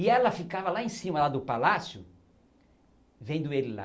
E ela ficava lá em cima lá do palácio vendo ele lá.